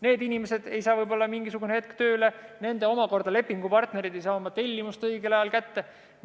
Sealsed inimesed ei saa mõnda aega võib-olla tööle minna, lepingupartnerid ei saa tellimusi õigel ajal kätte.